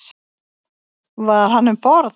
Var hann um borð?